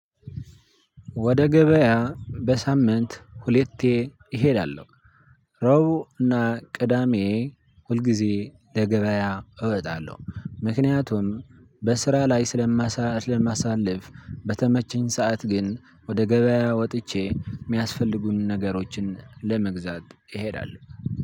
ወደ ገበያ በሳምንት ሁሌቴ እሄዳለሁ። ረቡና ቅዳሜ ሁልግዜ ለገበያ እወጣለሁ ምክንያቱም በስራ ላይ ስለማሳልፍ። በተመችኝ ሰዓት ግን ወደ ገበያ ወጥቼ የሚያስፈልጉንን ነገሮችን ለመግዛት እሄዳለው።